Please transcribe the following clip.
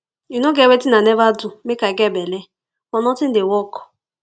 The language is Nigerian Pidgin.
e no get wetin i never do make i get belle but nothing dey work